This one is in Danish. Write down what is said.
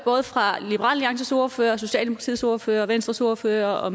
fra både alliances ordfører og socialdemokratiets ordfører og venstres ordfører og